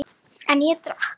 En ég drakk.